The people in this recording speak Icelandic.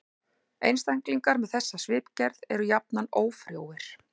Einstaklingar með þessa svipgerð eru jafnan ófrjóir.